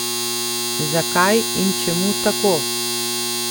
Zakaj in čemu tako?